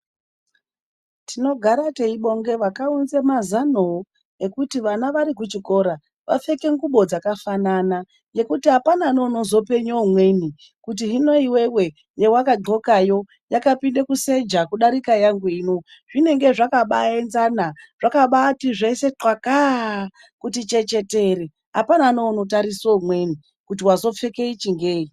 Tinogara teibonga vakaunze mazanowo ekuti vana vari kuchikora vapfeke ngubo dzakafanana nokuti hapana neunozopenye umweni kuti hino iwewe yawakadhlokayo yakapinde kuseja kudarika yangu ino. Zvinenge zvakabaenzana zvakabati zvese ntwaka kuti chechetere. Hapana nounotarise umweni kuti wazopfeke ichi ngenyi.